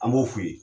An b'o f'u ye